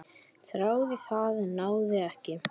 Þráði það, en náði ekki.